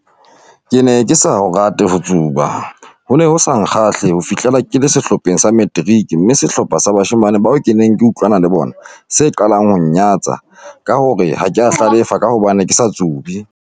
"Ke ne ke sa ho rate ho tsuba - ho ne ho sa nkgahle ho fihlela ke le sehlopheng sa materiki, mme sehlopha sa bashemane bao ke neng ke utlwana le bona se qalang ho nnyatsa ka ho re ha ke a hlalefa ka hobane ke sa tsube."